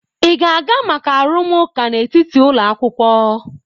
Ị ga-aga maka arụmụka n'etiti ụlọ akwụkwọ?